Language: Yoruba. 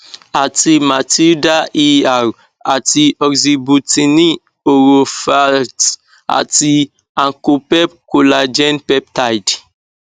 àti matilda er àti oxybutynin oroferxt àti ankopep collagen peptide